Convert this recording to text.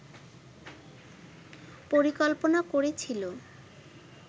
পরিকল্পনা করেছিল